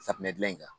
Safunɛ gilan in kan